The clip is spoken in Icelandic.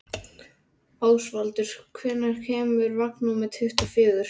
Ásvaldur, hvenær kemur vagn númer tuttugu og fjögur?